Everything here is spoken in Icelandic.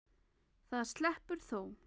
Það sleppur þó.